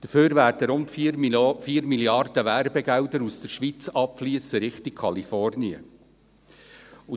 Dafür werden rund 4 Mrd. Franken Werbegelder aus der Schweiz Richtung Kalifornien abfliessen.